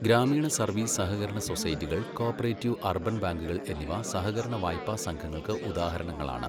ഗ്രാമീണ സർവ്വീസ് സഹകരണ സൊസൈറ്റികൾ കോഓപ്പറേറ്റീവ് അർബൻ ബാങ്കുകൾ എന്നിവ സഹകരണ വായ്പാ സംഘങ്ങൾക്ക് ഉദാഹരണങ്ങളാണ്.